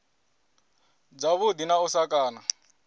dzavhuḓi na u sa kana